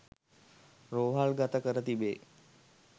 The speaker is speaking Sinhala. රෝහල්ගත කර තිබේ